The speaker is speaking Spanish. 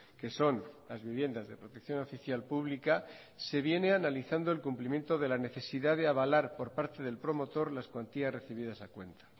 que son las viviendas de protección oficial pública se viene analizando el cumplimiento de la necesidad de avalar por parte del promotor las cuantías recibidas a cuenta